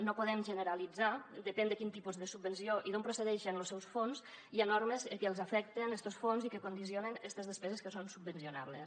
no podem generalitzar depèn de quin tipus de subvenció i d’on procedeixen los seus fons hi ha normes que els afecten estos fons i que condicionen estes despeses que són subvencionables